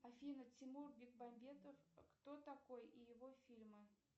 афина тимур бекмамбетов кто такой и его фильмы